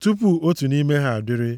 tupu otu nʼime ha adịrị.